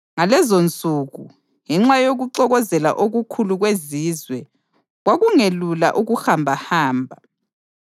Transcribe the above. Ngalezonsuku, ngenxa yokuxokozela okukhulu kwezizwe, kwakungelula ukuhambahamba.